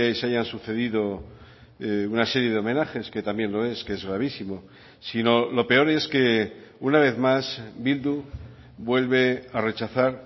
se hayan sucedido una serie de homenajes que también lo es que es gravísimo sino lo peor es que una vez más bildu vuelve a rechazar